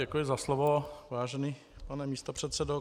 Děkuji za slovo, vážený pane místopředsedo.